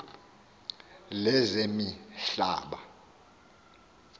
lezemihlaba